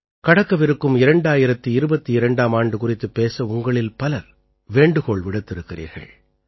கடக்கவிருக்கும் 2022ஆம் ஆண்டு குறித்துப் பேச உங்களில் பலர் வேண்டுகோள் விடுத்திருக்கிறீர்கள்